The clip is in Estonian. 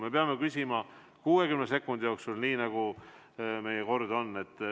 Me peame küsima 60 sekundi jooksul, nii nagu meie kord on.